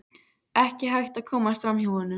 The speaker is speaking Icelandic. Ekki hægt að komast fram hjá honum.